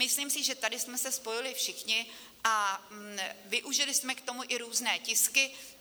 Myslím si, že tady jsme se spojili všichni, a využili jsme k tomu i různé tisky.